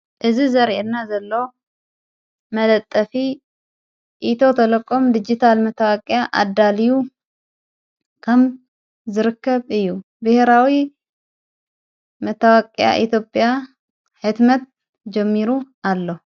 እዝ ዘርአና ዘሎ መለጠፊ ኢቶ ተለቆም ዲጊታል መተዋቅኣ ኣዳልዩ ከም ዝርከብ እዩ ብሕራዊ መተዋቅኣ ኢቲጴያ ሕትመት ጀሚሩ ኣሎ።